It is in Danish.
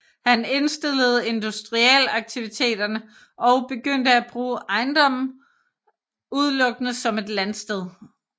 Han indstillede industriaktiviteterne og begyndte at bruge ejendommen udelukkende som et landsted